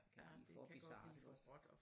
For bizart